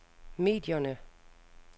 medierne